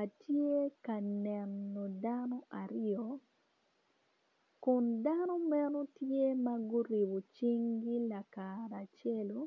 Atye ka neno dano aryo kun dano meno tye ma guruko cingi lakara acelu